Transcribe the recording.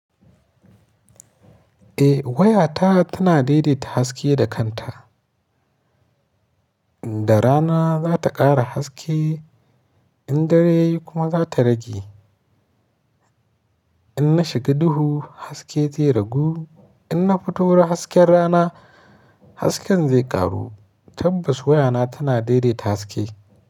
Eh wayata tana daidaita haske da kanta. Da rana za ta ƙara haske in dare kuma za ta rage. In na shiga duhu haske zai ragu, in na fito wurin hasken rana hasken zai ƙaru. Tabbas wayana tana daidaita haske.